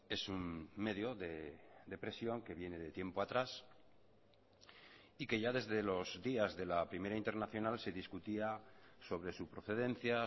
es un medio de presión que viene de tiempo atrás y que ya desde los días de la primera internacional se discutía sobre su procedencia